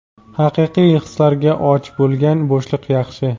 haqiqiy hislarga och bo‘lgan bo‘shliq yaxshi.